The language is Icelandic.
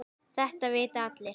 Þetta vita allir.